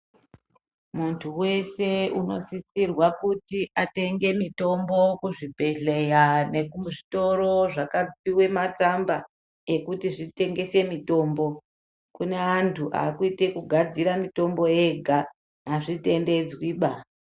Muntu wese unosise kuzi atenge motombo kuzvibhedhlera nekuzvitoro zvakapiwe matsamba ekuti zvitengese mitombo kune antu akuite zvekugadzira mitombo ega azvitendedzwi baa .